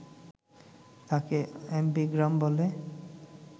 তাকে অ্যামবিগ্রাম বলে